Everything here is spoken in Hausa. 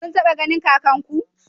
Kun taba ganin kakanku?